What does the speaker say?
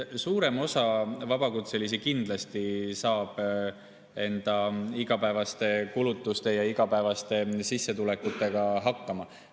Suurem osa vabakutselisi saab enda igapäevaste kulutustega igapäevaste sissetulekute abil kindlasti hakkama.